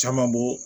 Caman bɔ